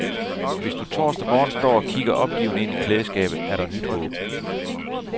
Hvis du torsdag morgen står og kigger opgivende ind i klædeskabet, er der nyt håb.